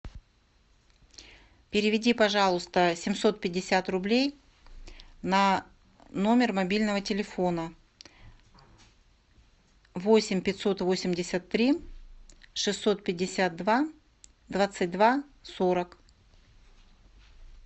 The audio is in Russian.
переведи пожалуйста семьсот пятьдесят рублей на номер мобильного телефона восемь пятьсот восемьдесят три шестьсот пятьдесят два двадцать два сорок